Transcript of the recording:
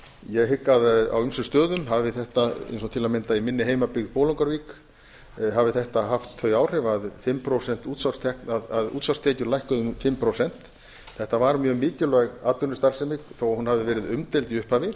ég hygg að á ýmsum stöðum hafi þetta eins og til að mynda í minni heimabyggð bolungarvík hafi þetta haft þau áhrif að útsvarstekjur lækkuðu um fimm prósent þetta var mjög mikilvæg atvinnustarfsemi þó hún hafi verið umdeild